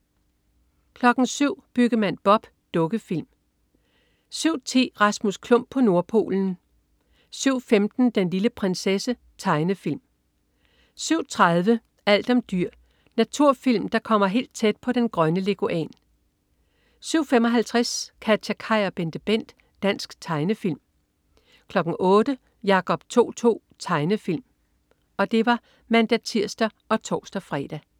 07.00 Byggemand Bob. Dukkefilm (man-tirs og tors-fre) 07.10 Rasmus Klump på Nordpolen. Tegnefilm 07.15 Den lille prinsesse. Tegnefilm (man-tirs og tors-fre) 07.30 Alt om dyr. Naturfilm der kommer helt tæt på den grønne leguan 07.55 KatjaKaj og BenteBent. Dansk tegnefilm (man-tirs og tors) 08.00 Jacob To-To. Tegnefilm (man-tirs og tors-fre)